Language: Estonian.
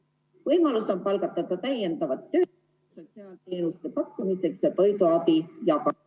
Võimalus on palgata ka täiendavat tööjõudu sotsiaalteenuste pakkumiseks ja toiduabi jagamiseks.